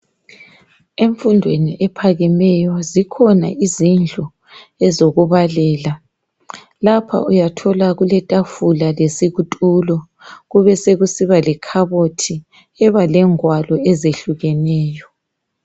Emfundweni ephakemeyo zikhona izindlu ezokubalela lapha uyathola kuletafula lesitulo kube sekusiba lekhabothi ebalengwalo ezehlukeneyo.